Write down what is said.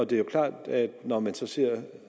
det er jo klart at når man så ser